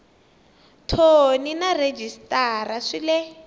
thoni na rhejisitara swi le